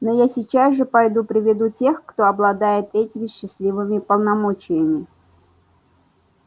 но я сейчас же пойду приведу тех кто обладает этими счастливыми полномочиями